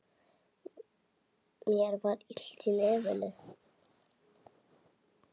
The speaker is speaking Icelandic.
Mér var illt í nefinu.